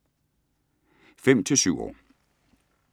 5-7 år